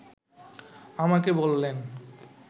আমাকে বললেন